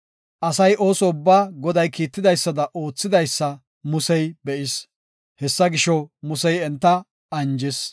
Asay, ooso ubbaa, Goday kiitidaysada oothidaysa Musey be7is. Hessa gisho, Musey enta anjis.